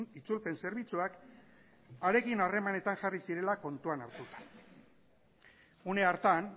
itzulpen zerbitzuak harekin harremanetan jarri zirela kontuan hartuta une hartan